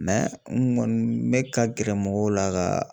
n kɔni n mɛ ka gɛrɛ mɔgɔw la ka